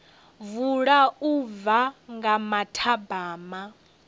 vula u bva nga mathabama